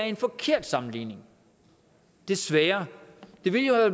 en forkert sammenligning desværre det ville jo